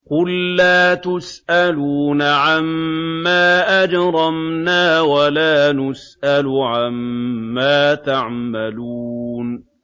قُل لَّا تُسْأَلُونَ عَمَّا أَجْرَمْنَا وَلَا نُسْأَلُ عَمَّا تَعْمَلُونَ